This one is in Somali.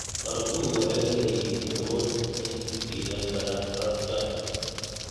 Farduhu waxay leeyihiin awood ay ku jiidaan rarka.